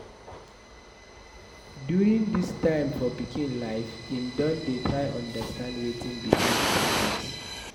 During this time for pikin life, im don dey try understand wetin be independence